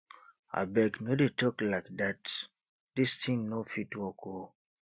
abeg no dey talk like dat dis thing no fit work oo